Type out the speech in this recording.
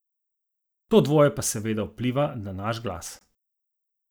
To dvoje pa seveda vpliva na naš glas.